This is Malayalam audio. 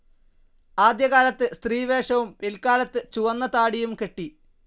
ആദ്യകാലത്ത് സ്ത്രീവേഷവും പില്ക്കാലത്തു ചുവന്ന താടിയും കെട്ടി.